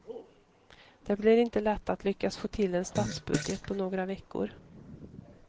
Det blir inte lätt att lyckas få till en statsbudget på några veckor.